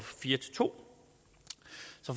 to